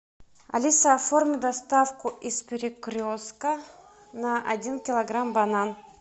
алиса оформи доставку из перекрестка на один килограмм банан